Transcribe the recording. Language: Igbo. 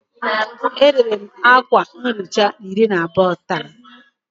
E rere m akwa nhicha iri na abụọ taa